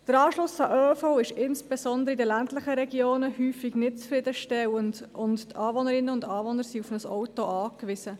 Der Anschluss an den ÖV ist insbesondere in den ländlichen Regionen nicht zufriedenstellend, und die Anwohnerinnen und Anwohner sind auf ein Auto angewiesen.